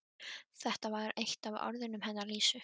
Þetta var eitt af orðunum hennar Lísu.